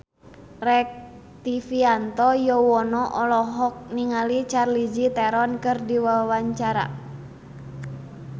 Rektivianto Yoewono olohok ningali Charlize Theron keur diwawancara